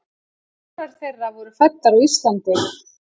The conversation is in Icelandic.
Fjórar þeirra voru fæddar á Íslandi.